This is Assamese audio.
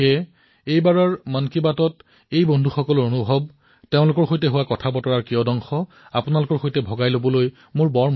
সেইবাবে আজি মন কী বাতত এনে বন্ধুসকলৰ সৈতে তেওঁলোকৰ অনুভৱ তেওঁলোকৰ কথাবতৰা মই বিনিময় কৰিব বিচাৰিছো